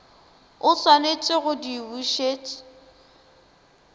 o swanetše go di bušet